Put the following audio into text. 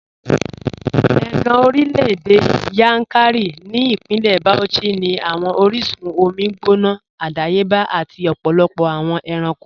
Ẹ̀gàn orílẹ̀-èdè Yankari ni Ipínlẹ̀ Bauchí ni awọn oríṣun omi gbóná àdàyébà àti ọ̀pọ̀lọpọ̀ awọn èrànko